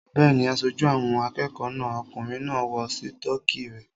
Bẹ́ẹ̀ni, aṣojú àwọn akẹ́kọ̀ọ́ náà okùnrin náà ń wọ sítọ́kì rẹ̀